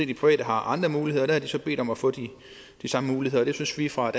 de private har andre muligheder der har de så bedt om at få de samme muligheder det synes vi fra